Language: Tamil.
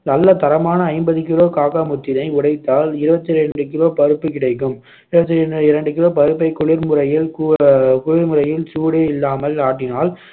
நல்ல தரமான ஐம்பது கிலோ காக்கா முத்தினை உடைத்தால் இருபத்தி இரண்டு kilo பருப்பு கிடைக்கும் இருபத்தி இரண்டு kilo பருப்பை குளிர்முறையில் கு~ அஹ் குளிர்முறையில் சூடே இல்லாமல் ஆட்டினால்